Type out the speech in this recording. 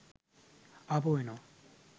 ආපහු එනවා.